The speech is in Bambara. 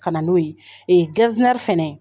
Ka na n'o ye fɛnɛ